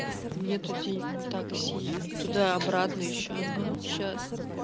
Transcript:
нету денег на такси туда и обратно ещё ага сейчас